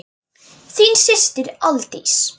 Þín systir, Aldís.